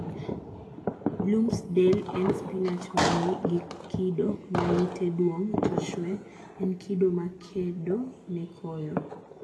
Bloomsdale en spinach ma ni gi kido ma yite duong to chwee- en kido ma kedo ne koyo.